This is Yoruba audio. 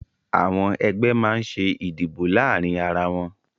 Àwọn ẹgbẹ́ máa ń ṣe ìdìbò láàárín ara wọn